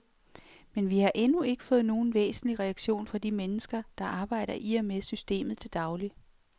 Men vi har endnu ikke fået nogen væsentlig reaktion fra de mennesker, der arbejder i og med systemet til daglig.